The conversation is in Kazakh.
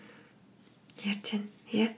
ертең иә